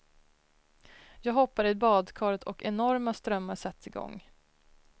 Jag hoppar i badkaret och enorma strömmar sätts i gång.